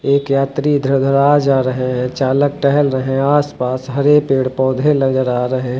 एक यात्री इधर उधर आ जा रहे हैं चालक टहल रहे आसपास हरे पेड़ पौधे नजर आ रहे।